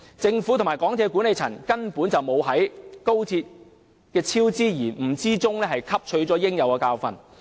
政府和港鐵公司管理層根本未有在高鐵工程的超支延誤中汲取教訓。